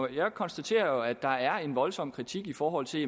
jeg konstaterer jo at der er en voldsom kritik i forhold til